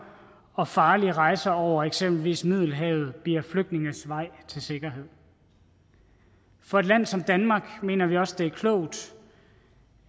og farlige rejse over eksempelvis middelhavet bliver flygtninges vej til sikkerhed for et land som danmark mener vi også det er klogt